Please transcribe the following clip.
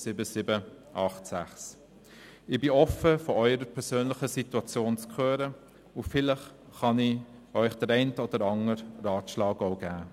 Ich bin offen, von Ihrer persönlichen Situation zu hören, und vielleicht kann ich Ihnen auch den einen oder anderen Ratschlag geben.